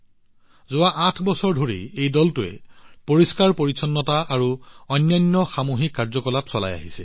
যোৱা আঠ বছৰ ধৰি এই দলটোৱে পৰিষ্কাৰপৰিচ্ছন্নতা আৰু অন্যান্য সামূহিক কাৰ্যকলাপৰ ওপৰত কাম কৰি আহিছে